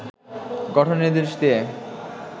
গঠনের নির্দেশ দিয়ে